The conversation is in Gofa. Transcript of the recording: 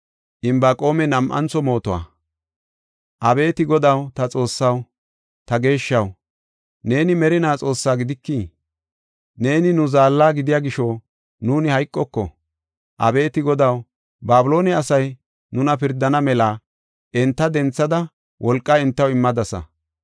Abeeti Godaw, ta Xoossaw, ta Geeshshaw, neeni merinaa Xoossaa gidikii? Neeni nu Zaalla gidiya gisho nuuni hayqoko. Abeeti Godaw, Babiloone asay nuna pirdana mela enta denthada wolqaa entaw immadasa.